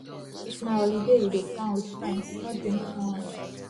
if na holiday you dey plan with friends no drink too much